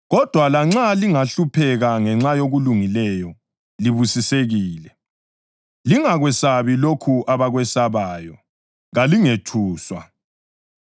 Kodwa lanxa lingahlupheka ngenxa yokulungileyo, libusisekile. “Lingakwesabi lokho abakwesabayo; kalingethuswa.” + 3.14 U-Isaya 8.12